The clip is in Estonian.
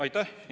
Aitäh!